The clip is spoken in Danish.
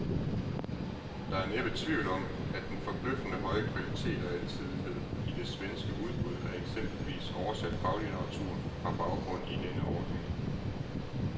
Der er næppe tvivl om, at den forbløffende høje kvalitet og alsidighed i det svenske udbud af eksempelvis oversat faglitteratur har baggrund i denne ordning.